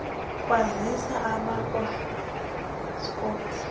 kwazisa abakwa airports